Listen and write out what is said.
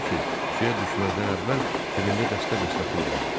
halbuki suya düşməzdən əvvəl cibində dəstə-dəstə pul vardı.